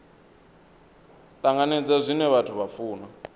tanganedza zwine vhathu vha funa